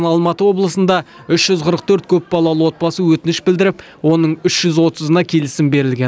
алматы облысында үш жүз қырық төрт көпбалалы отбасы өтініш білдіріп оның үш жүз отызына келісім берілген